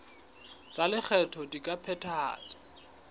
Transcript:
tsa lekgetho di ka phethahatswa